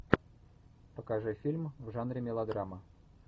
покажи фильм в жанре мелодрама